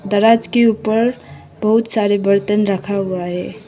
दराज के ऊपर बहुत सारे बर्तन रखा हुआ है।